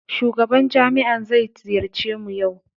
Shugaban jami'a zai ziyarci mu yau